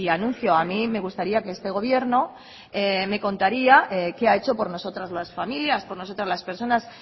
anuncio a mí me gustaría que este gobierno me contara qué ha hecho por nosotras las familias por nosotras las personas